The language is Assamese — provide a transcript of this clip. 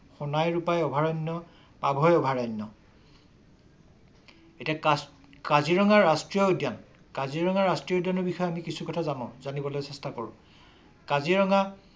সোণাই ৰূপাই অভয় অভয়াৰণ্য। এতিয়া কাজিৰঙা ৰাষ্ট্ৰীয় উদ্যান কাজিৰঙা ৰাষ্ট্ৰীয় উদ্যানৰ বিষয়ে কিছু কথা জানো জানিবলৈ চেষ্টা কৰো। কাজিৰঙা